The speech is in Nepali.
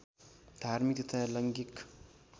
धार्मिक तथा लैङ्गिक